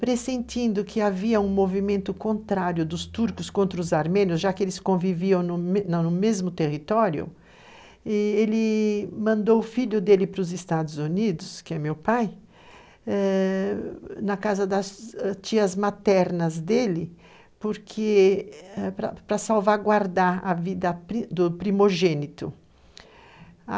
pressentindo que havia um movimento contrário dos Turcos contra os Armênios, já que eles conviviam no mesmo território, ele mandou o filho dele para os Estados Unidos, que é meu pai, ãh, na casa das tias maternas dele, porque, para salvaguardar a vida do primogênito.